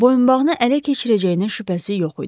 Boyunbağını ələ keçirəcəyinə şübhəsi yox idi.